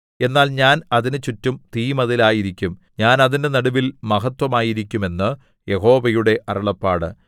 എന്നാൽ ഞാൻ അതിന് ചുറ്റും തീമതിലായിരിക്കും ഞാൻ അതിന്റെ നടുവിൽ മഹത്ത്വമായിരിക്കും എന്ന് യഹോവയുടെ അരുളപ്പാട്